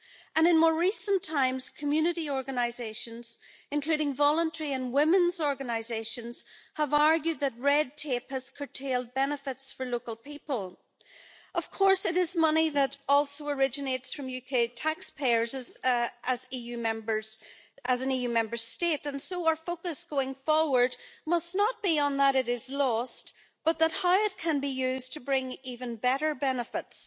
And in more recent times, community organisations including voluntary and womenʼs organisations have argued that red tape has curtailed benefits for local people. Of course, it is money that also originates from UK taxpayers as an EU Member State and so our focus going forward must not be on how it is lost, but on how it can be used to bring even better benefits.